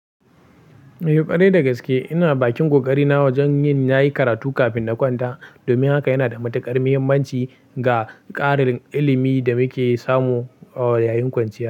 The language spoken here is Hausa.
Eh, ƙwarai da gaske ina bakin ƙoƙari na wajen yin nayi karatu kafin na kwanta. Domin haka yana da matuƙar muhimmanci ga ƙarin ilimi da muke samu yayin kwanciya.